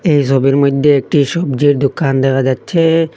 এই ছবির মইধ্যে একটি সবজির দোকান দেখা যাচ্ছে।